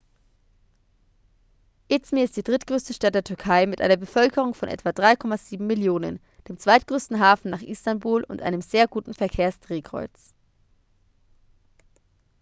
izmir ist die drittgrößte stadt der türkei mit einer bevölkerung von etwa 3,7 millionen dem zweitgrößten hafen nach istanbul und einem sehr guten verkehrsdrehkreuz